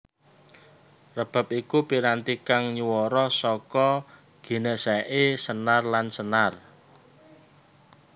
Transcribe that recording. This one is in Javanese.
Rebab iku piranti kang nyuwara saka ginèsèké senar lan senar